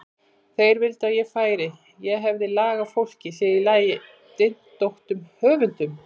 Þeir vildu að ég færi, ég hefði lag á fólki, sér í lagi dyntóttum höfundum.